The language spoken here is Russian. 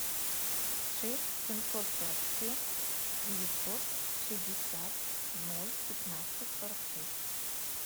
шесть семьсот сорок семь девятьсот шестьдесят ноль пятнадцать сорок шесть